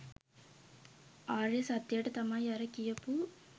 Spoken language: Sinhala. ආර්ය සත්‍යයට තමයි අර කියපු